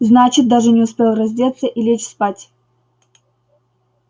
значит даже не успел раздеться и лечь спать